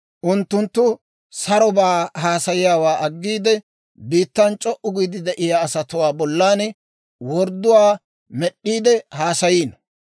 Unttunttu sarobaa haasayiyaawaa aggiide, Biittan c'o"u giide de'iyaa asatuwaa bollan wordduwaa med'd'iide haasayiino.